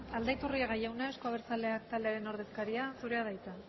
aldaiturriaga jauna euzko abertzaleak taldearen ordezkaria zurea da hitza